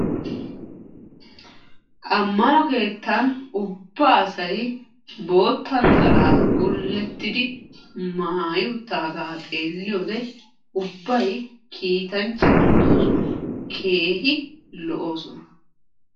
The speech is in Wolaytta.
Amanno keettan ubba asay bootta naxalaa gullettidi maayi uttaagaa xeeliyode ubay kiitanchcha malatosona keehi lo"oosona.